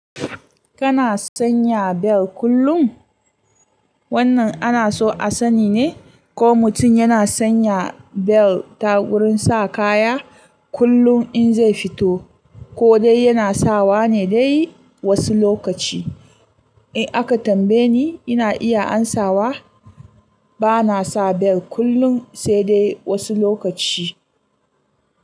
Kana sanya bel kullum? Wannan ana so a sani ne ko mutum yana sanya bel ta wurin sa kaya kullum in zai fito ko dai yana sawa ne dai wasu lokaci. In aka tambaye ni, ina iya amsawa bana sa bel kullum sai dai wasu lokaci.